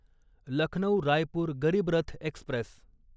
Lucknow Raipur Garib Rath Express